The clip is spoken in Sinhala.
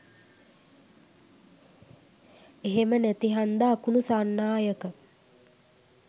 එහෙම නැති හන්ද අකුණු සන්නායක